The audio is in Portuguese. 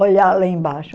olhar lá embaixo.